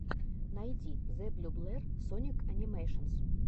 найди зэблюблер соник анимэйшенс